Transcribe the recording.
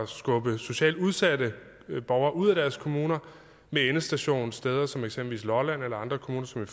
skubbe socialt udsatte borgere ud af deres kommune med endestation steder som eksempelvis lolland eller andre kommuner som i